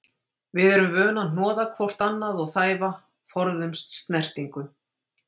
Við sem erum vön að hnoða hvort annað og þæfa, forðumst snertingu.